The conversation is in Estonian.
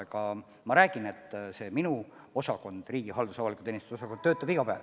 Aga ma kinnitan, et minu osakond, riigihalduse ja avaliku teenistuse osakond, töötab iga päev.